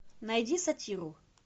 найди сатиру